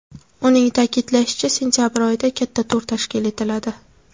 Uning ta’kidlashicha, sentabr oyida katta tur tashkil etiladi.